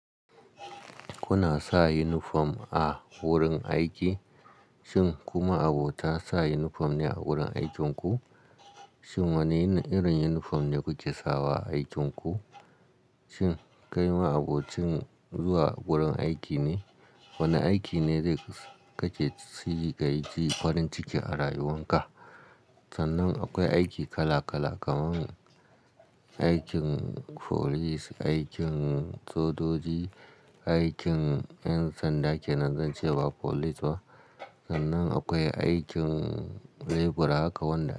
Kuna sa unifom a wurin aiki? Shin ku maabota sa unifom ne a wurin aikin ku? Shin wane irin unifom ne kuke sawa a aikin ku? Shin kai ma abokin zuwa wurin aiki ne? Wane aiki ne da kake shiga aiki farin ciki a rayuwarka? Sannan akwai aiki kala-kala kaman aikin folis, aikin sojoji, aikin ƴan sanda kenan zance ba folis ba. Sannan akwai aikin lebura kawai na.